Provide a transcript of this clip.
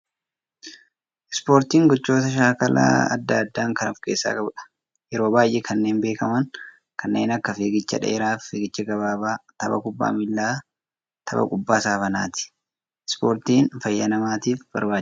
Ispoortiin gochoota shaakala addaa addaa kan of keessaa qabu, yeroo baayyee kanneen beekaman, kan akka fiigicha dheeraa fi fiigicha gabaabaa, tapha kubbaa miilaa fi tapha kubbaa saaphanaati. Ispoortiin fayyaa namaatiif barbaachisaadha.